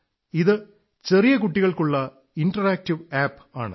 ഇത് ചെറിയ കുട്ടികൾക്കുള്ള ഇന്ററാക്ടീവ് ആപ് ആണ്